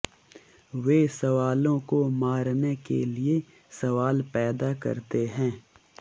वे सवालों को मारने के लिए सवाल पैदा करते हैं